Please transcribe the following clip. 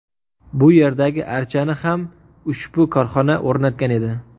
Bu yerdagi archani ham ushbu korxona o‘rnatgan edi.